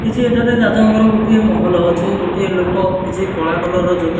କିଛି ଏଠାରେ ରାଜାଙ୍କର ଗୋଟିଏ ମହଲ ଅଛି ଗୋଟିଏ ଲୋକ କିଛି କଳା କଲର୍ ର ଜୋତା --